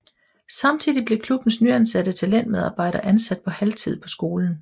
Samtidig blev klubbens nyansatte talentmedarbejder ansat på halvtid på skolen